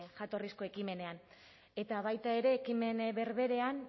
jatorrizko ekimenean eta baita ere ekimen berberean